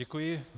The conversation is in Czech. Děkuji.